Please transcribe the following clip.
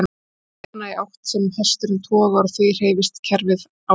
Þeir stefna í þá átt sem hesturinn togar og því hreyfist kerfið áfram.